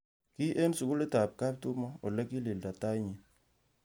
Ki eng sugulitab kaptumo ole kililda tait nyi